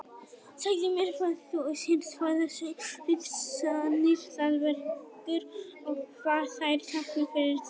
Segðu mér hvað þú sérð, hvaða hugsanir það vekur og hvað þær tákna fyrir þig.